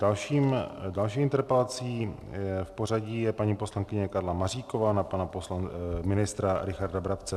Další interpelací v pořadí je paní poslankyně Karla Maříková na pana ministra Richarda Brabce.